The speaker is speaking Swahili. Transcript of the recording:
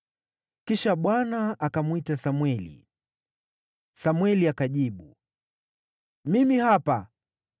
Kisha Bwana akamwita Samweli. Samweli akajibu, “Mimi hapa.”